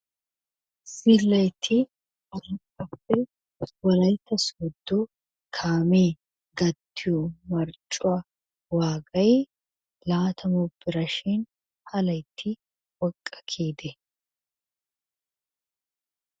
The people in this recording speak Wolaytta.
Zillaytti arakkappe wolaytta sooddo kaamee gattiyo marccuwa waagayi laatamu bira shin ha laytti woqqa kiyidee?